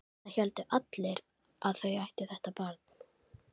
Það héldu allir að þau ættu þetta barn.